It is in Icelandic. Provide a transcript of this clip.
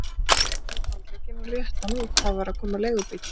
Ég gat losað annan handlegginn og rétti hann út, það var að koma leigubíll.